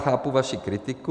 Chápu vaši kritiku.